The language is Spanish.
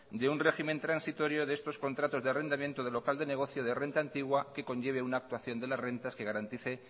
deun régimen transitorio de estos contratos de arrendamiento de local de negocia de renta antigua que conlleve una actuación de las rentas que garantice